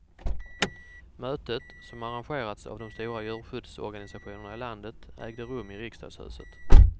Mötet, som arrangerats av de stora djurskyddsorganisationerna i landet, ägde rum i riksdagshuset.